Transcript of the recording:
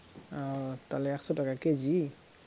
ও তাহলে একশ টাকা কেজি?